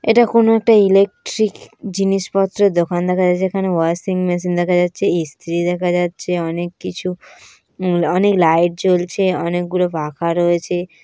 এটা কোন একটা ইলেকট্রিক জিনিসপত্রের দোকানদেখা যাচ্ছে যেখানে ওয়াশিং মেশিন দেখা যাচ্ছেই স্ত্রী দেখা যাচ্ছে অনেক কিছু অনেক লাইট জ্বলছে অনেকগুলো পাখা রয়েছে।